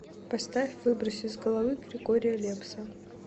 поставь выбрось из головы григория лепса